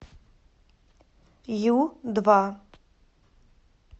ю два